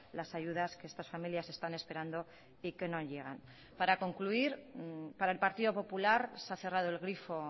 las ayudas que estas familias están esperando y que no llegan para concluir para el partido popular se ha cerrado el grifo